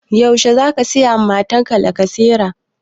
Yaushe za ka saya mun lacasera?